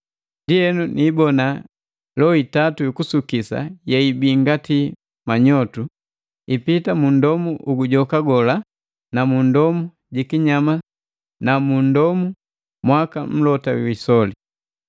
Ndienu niibona loho itatu yukusukisa yeibii ngati manyotu, ipita mu ndomu ugujoka gola na mu ndomu ji kinyama nu mu ndomu mwaka mlota jwi isoli.